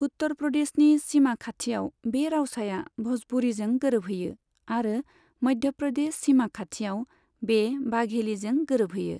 उत्तर प्रदेशनि सीमा खाथियाव, बे रावसाया भ'जपुरीजों गोरोबहैयो, आरो मध्य प्रदेश सीमा खाथियाव बे बाघेलीजों गोरोबहैयो।